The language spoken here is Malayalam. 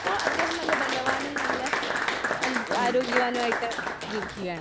ഇപ്പൊ അദ്ദേഹം നല്ല ബലവാനും നല്ല അതെ ആരോഗ്യവാനുമായിട്ട് ജീവിക്കുകയാണ്.